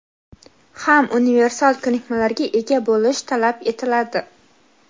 ham universal ko‘nikmalarga ega bo‘lish talab etiladi.